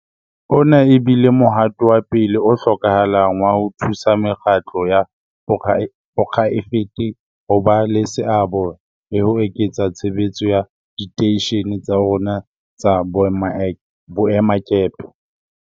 Ona e bile mohato wa pele o hlokahalang wa ho thusa mekgatlo ya poraefete ho ba le seabo le ho eketsa tshebetso ya diteishene tsa rona tsa boemakepe.